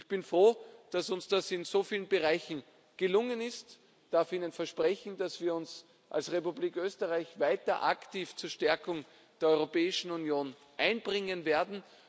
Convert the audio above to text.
Ich bin froh, dass uns das in so vielen Bereichen gelungen ist, ich darf Ihnen versprechen, dass wir uns als Republik Österreich weiter aktiv zur Stärkung der Europäischen Union einbringen werden.